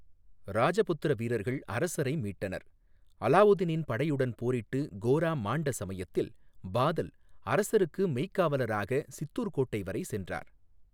ராஜபுத்திர வீரர்கள் அரசரை மீட்டனர், அலாவுதீனின் படையுடன் போரிட்டு கோரா மாண்ட சமயத்தில் பாதல் அரசருக்கு மெய்க்காவலராகச் சித்தூர் கோட்டை வரை சென்றார்.